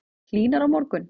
Hlýnar á morgun